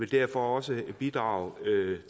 derfor også bidrage